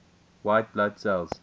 white blood cells